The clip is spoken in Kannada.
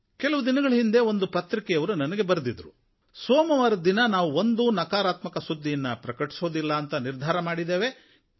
ಕೆಲವು ದಿನಗಳ ಹಿಂದೆ ಒಂದು ಪತ್ರಿಕೆಯವರು ನನಗೆ ಬರೆದಿದ್ದರು ಸೋಮವಾರದ ದಿನ ನಾವು ಒಂದೂ ನಕಾರಾತ್ಮಕ ಸುದ್ದಿಯನ್ನು ಪ್ರಕಟಿಸುವುದಿಲ್ಲ ಅಂತ ನಿರ್ಧಾರ ಮಾಡಿದ್ದೇವೇಂತ